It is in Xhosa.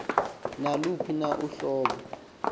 naluphi na uhlobo